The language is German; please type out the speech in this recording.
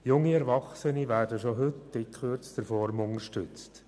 Junge Erwachsene werden schon heute in gekürzter Form unterstützt.